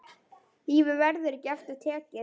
Lífið verður ekki aftur tekið.